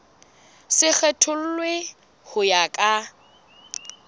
se kgethollwe ho ya ka